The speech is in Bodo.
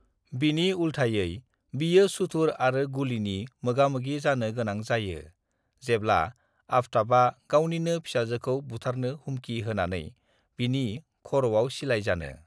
बिनि उलथायै बियो सुथुर आरो गुलिनि मोगामोगि जानो गोनां जायो जेब्ला आफताबआ गावनिनो फिसाजोखौ बुथारनो हुमखि होनानै बिनि खर'आव सिलाइ जानो।